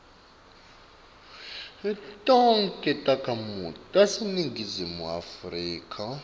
tonkhe takhamiti taseningizimu